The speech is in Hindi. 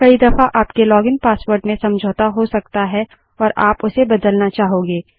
कई दफा आपके लॉगिन पासवर्ड में समझौता हो सकता है और आप उसे बदलना चाहोगे